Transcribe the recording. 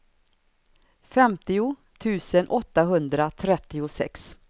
femtio tusen åttahundratrettiosex